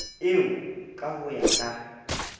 eo ka ho ya ka